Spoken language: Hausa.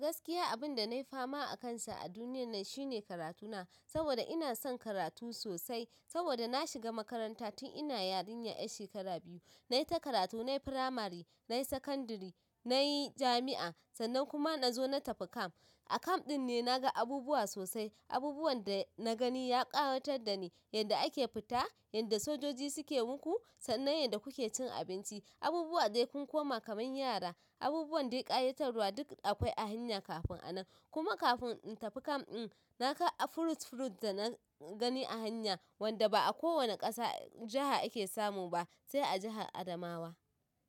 Gaskiya abin da na yi fama akansa a duniyar nan shine karatuna, saboda ina son karatu sosai. Saboda na shiga makaranta tun ina yarinya 'yar shekara biyu. Na yi ta karatu, na yi firamari, na yi sakandari, na yi jami'a, sannan kuma na zo na tafi camp. A kamf ɗin ne na ga abubuwa sosai. Abubuwan da na gani ya ƙayatar da ni. Yadda ake fita, yadda sojoji suke muku, sannan yadda kuke cin abinci, abubuwa dai kun koma kamar yara, abubuwan dai ƙayatarwa duk akwai a hanya kafin a nan. Kuma kafin in tafi camp ɗin, na ga fruit fruit da na gani a hanya wanda ba a kowane ƙasa jaha ake samu ba sai a jahar Adamawa.